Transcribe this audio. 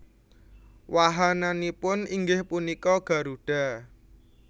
Wahananipun inggih punika Garuda